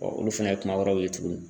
olu fana ye kuma wɛrɛw ye tuguni.